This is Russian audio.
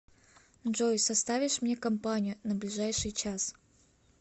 джой составишь мне компанию на ближайший час